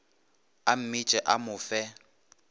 a mmitše o mo fe